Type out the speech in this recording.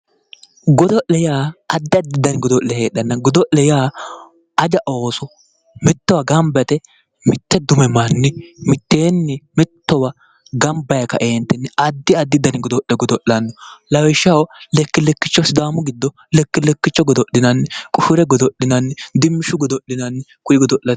Godo'le yaa addi addi godo'le heedhanna ,godo'lete yaa aja ooso mittowa gamba yte mite dume manni mitteenni mittowa gamba yee kaeentinni addi addi diligonni mitteeni godo'lanno lawishshaho lekki-lekkicho sidaamu giddo lekki-lekkicho godo'linanni kone godo'linanni dirshu-dirshunni